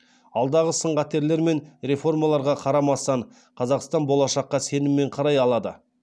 алдағы сын қатерлер мен реформаларға қарамастан қазақстан болашаққа сеніммен қарай алады